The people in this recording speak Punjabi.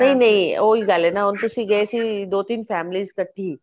ਨਹੀਂ ਨਹੀਂ ਉਹੀ ਗੱਲ ਏ ਨਾ ਹੁਣ ਤੁਸੀਂ ਗਏ ਸੀ ਦੋ ਤਿੰਨ families ਇੱਕਠੀ